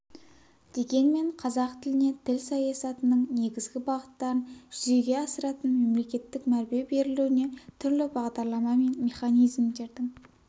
дегенмен қазақ тіліне тіл саясатының негізгі бағыттарын жүзеге асыратын мемлекеттік мәрбе берілуіне түрлі бағдарлама мен механизмдердің